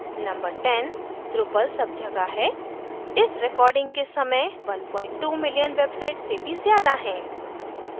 number 10: drupal सब जगह है इस रेकॉर्डिंग के समय 12 मिलियन वेबसाइट्स से भी ज़्यादा हैं